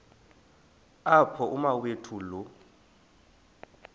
apho umawethu lo